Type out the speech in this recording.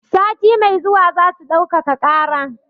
Sati mai zuwa zasu ɗaukaka ƙara.